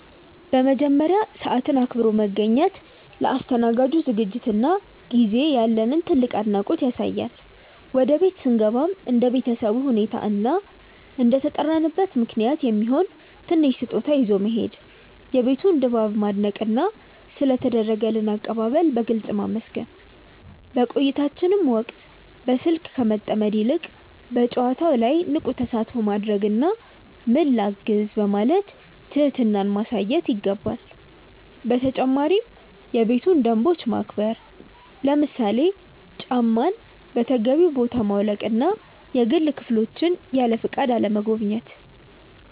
በመጀመሪያ፣ ሰዓትን አክብሮ መገኘት ለአስተናጋጁ ዝግጅትና ጊዜ ያለንን ትልቅ አድናቆት ያሳያል። ወደ ቤት ስንገባም እንደ ቤተሰቡ ሁኔታ እና እንደተጠራንበት ምክንያት የሚሆን ትንሽ ስጦታ ይዞ መሄድ፣ የቤቱን ድባብ ማድነቅና ስለ ተደረገልን አቀባበል በግልጽ ማመስገን። በቆይታችን ወቅትም በስልክ ከመጠመድ ይልቅ በጨዋታው ላይ ንቁ ተሳትፎ ማድረግና "ምን ላግዝ?" በማለት ትህትናን ማሳየት ይገባል። በተጨማሪም የቤቱን ደንቦች ማክበር፣ ለምሳሌ ጫማን በተገቢው ቦታ ማውለቅና የግል ክፍሎችን ያለፈቃድ አለመጎብኘት።